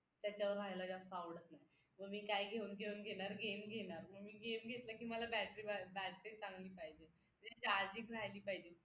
त्याच्यावर राहायला जास्त आवडत नाही मग मी काय घेऊन घेऊन घेणार game घेणार मग मी game घेतलं की मला battery चांगली पाहिजे म्हणजे charging झाली पाहिजे